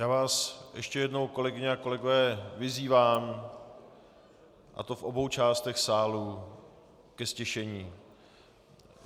Já vás ještě jednou, kolegyně a kolegové, vyzývám, a to v obou částech sálu, ke ztišení.